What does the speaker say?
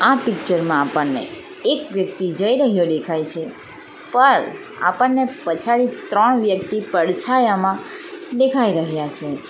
આ પિક્ચર માં આપણને એક વ્યક્તિ જઈ રહ્યો દેખાય છે પણ આપણને પછાડી ત્રણ વ્યક્તિ પડછાયામાં દેખાઈ રહ્યા છે.